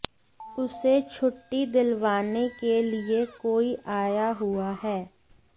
उसे छुट्टी दिलवाने के लिए कोई आया हुआ है